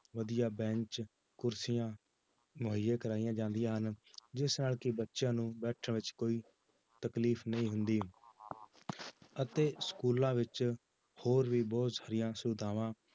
ਵਧੀਆ ਬੈਂਚ ਕੁਰਸੀਆਂ ਮੁਹੱਈਆ ਕਰਵਾਈਆਂ ਜਾਂਦੀਆਂ ਹਨ, ਜਿਸ ਨਾਲ ਕਿ ਬੱਚਿਆਂ ਨੂੰ ਬੈਠਣ ਵਿੱਚ ਕੋਈ ਤਕਲੀਫ਼ ਨਹੀਂ ਹੁੰਦੀ ਅਤੇ schools ਵਿੱਚ ਹੋਰ ਵੀ ਬਹੁਤ ਸਾਰੀਆਂ ਸਹੂਲਤਾਵਾਂ